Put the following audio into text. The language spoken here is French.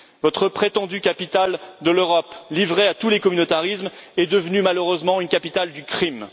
Votre prétendue capitale de l'Europe, livrée à tous les communautarismes, est devenue, malheureusement, une capitale du crime.